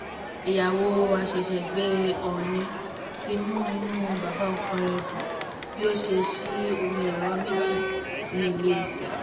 ìyàwó àṣẹ̀ṣẹ̀gbè ọọ́nì ti mú inú bàbá ọkọ rẹ̀ dùn bí ó ṣe sí omi ẹ̀rọ méjì sí ilé-ife